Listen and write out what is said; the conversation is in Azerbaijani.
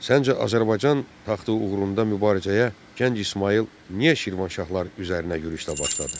Səncə Azərbaycan taxtı uğrunda mübarizəyə gənc İsmayıl niyə Şirvanşahlar üzərinə yürüşlə başladı?